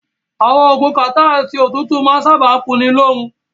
Àwọn oògùn kàtá àti òtútù máa ń sábáà kunni lóorun.